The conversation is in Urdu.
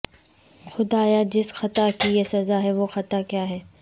خدایا جس خطا کی یہ سزا ہے وہ خطا کیا ہے